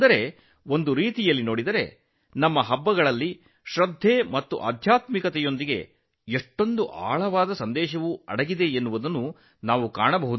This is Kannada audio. ಒಂದು ರೀತಿಯಲ್ಲಿ ನೋಡಿದರೆ ನಮ್ಮ ಹಬ್ಬಗಳಲ್ಲಿ ನಂಬಿಕೆ ಮತ್ತು ಅಧ್ಯಾತ್ಮದ ಜೊತೆಗೆ ಗಹನವಾದ ಸಂದೇಶ ಅಡಗಿರುವುದೂ ತಿಳಿಯುತ್ತದೆ